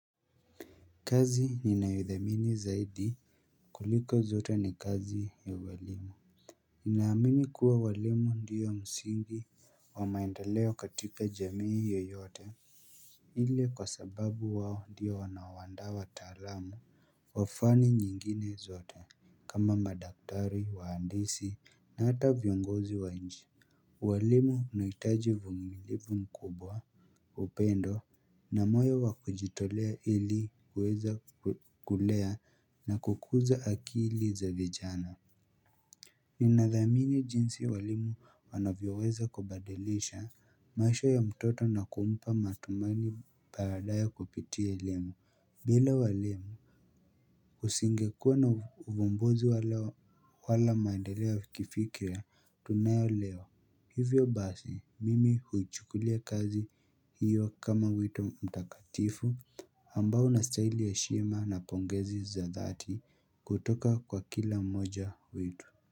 Kazi ninayodhamini zaidi kuliko zote ni kazi ya ualimu. Ninaamini kuwa walimu ndio msingi wa maendeleo katika jamii yoyote ile kwa sababu wao ndio wanaoandaa wataalamu wa fani nyingine zote. Kama madaktari wahandisi na hata viongozi wa nchi walimu wanahitaji uvumilivu mkubwa, upendo na moyo wa kujitolea ili kuweza kulea na kukuza akili za vijana. Ninathamini jinsi walimu wanavyoweza kubadilisha maisha ya mtoto na kumpa matumaini baadaye kupitia elimu. Bila walimu usingekuwa na uvumbozi wala maendeleo ya kifikira tunayo leo. Hivyo basi mimi huichukulia kazi hiyo kama wito mtakatifu ambao unastahili heshima na pongezi za dhati kutoka kwa kila mmoja wetu.